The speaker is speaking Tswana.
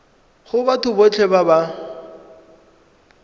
go batho botlhe ba ba